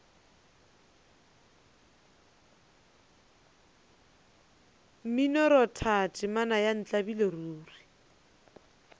mminoratho temana ya ntlabile ruri